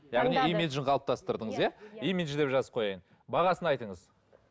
яғни имиджін қалыптастырдыңыз иә имидж деп жазып қояйын бағасын айтыңыз